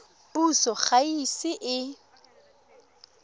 puso ga e ise e